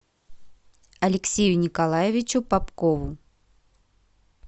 алексею николаевичу попкову